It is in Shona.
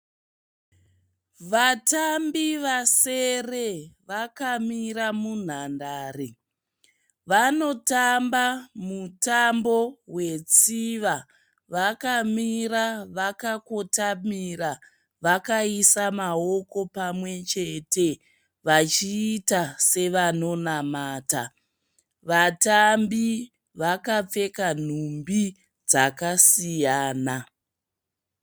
Vatambi vasere vakamira munhandare. Vanotamba mutambo we tsiva. Vakamira vakakotamira vakaisa maoko pamwe chete vachiita sevanonamata. Vatambi vakapfeka nhumbi dzakasiyana.